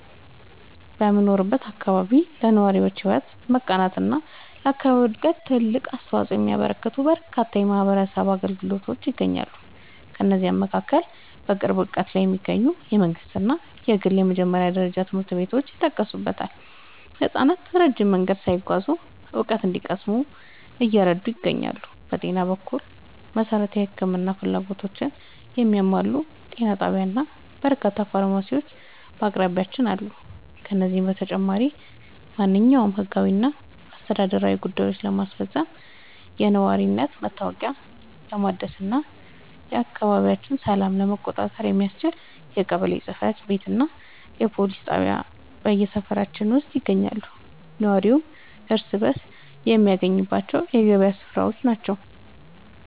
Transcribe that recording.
በምኖርበት አካባቢ ለነዋሪዎች ሕይወት መቃናትና ለአካባቢው ዕድገት ትልቅ አስተዋፅኦ የሚያበረክቱ በርካታ የማኅበረሰብ አገልግሎቶች ይገኛሉ። ከእነዚህም መካከል በቅርብ ርቀት ላይ የሚገኙ የመንግሥትና የግል የመጀመሪያ ደረጃ ትምህርት ቤቶች የሚጠቀሱ ሲሆን፣ ሕፃናት ረጅም መንገድ ሳይጓዙ እውቀት እንዲቀስሙ እየረዱ ይገኛሉ። በጤና በኩል፣ መሠረታዊ የሕክምና ፍላጎቶችን የሚያሟላ ጤና ጣቢያና በርካታ ፋርማሲዎች በአቅራቢያችን አሉ። ከዚህም በተጨማሪ፣ ማንኛውንም ሕጋዊና አስተዳደራዊ ጉዳዮችን ለማስፈጸም፣ የነዋሪነት መታወቂያ ለማደስና የአካባቢውን ሰላም ለመቆጣጠር የሚያስችል የቀበሌ ጽሕፈት ቤትና የፖሊስ ጣቢያ በሰፈራችን ውስጥ ይገኛሉ። ነዋሪው እርስ በርስ የሚገናኝባቸው የገበያ ሥፍራዎችና